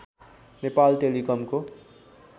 Nepal टेलिकमको